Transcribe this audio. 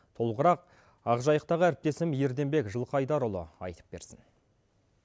толығырақ ақжайықтағы әріптесім ерденбек жылқыайдарұлы айтып берсін